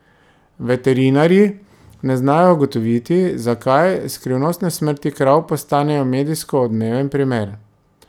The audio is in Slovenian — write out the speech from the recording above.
Veterinarji ne znajo ugotoviti, zakaj, skrivnostne smrti krav postanejo medijsko odmeven primer.